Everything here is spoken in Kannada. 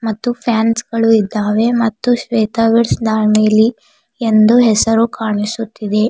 ಮತ್ತು ಫ್ಯಾನ್ಸ್ ಗಳು ಇದ್ದಾವೆ ಮತ್ತು ಶ್ವೇತಾ ವೆಡ್ಸ್ ಎಂದು ಹೆಸರು ಕಾಣಿಸುತ್ತಿದೆ.